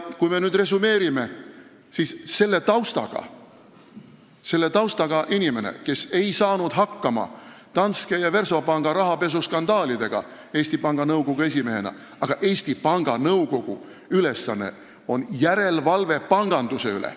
Kui me nüüd resümeerime, siis meie ees on sellise taustaga inimene, kes ei saanud Eesti Panga Nõukogu esimehena hakkama Danske ja Versobanki rahapesuskandaalidega, ehkki Eesti Panga Nõukogu ülesanne on järelevalve panganduse üle.